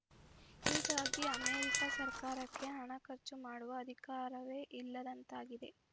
ಹೀಗಾಗಿ ಅಮೆರಿಕ ಸರ್ಕಾರಕ್ಕೆ ಹಣ ಖರ್ಚು ಮಾಡುವ ಅಧಿಕಾರವೇ ಇಲ್ಲದಂತಾಗಿದೆ